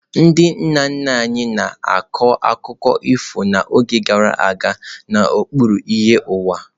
Ndị nna nna anyị na-akọ akụkọ ifo n'oge gara aga n'okpuru ìhè ọnwa.